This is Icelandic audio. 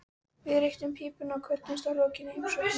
Við reyktum pípuna og kvöddumst að lokinni heimsókninni.